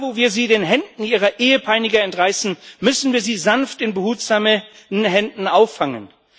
Da, wo wir sie den Händen ihrer Ehepeiniger entreißen, müssen wir sie sanft in behutsamen Händen auffangen.